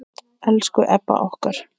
Elsku Ebba okkar.